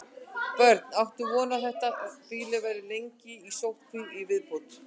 Björn: Áttu von á að þetta býli verði lengi í sóttkví í viðbót?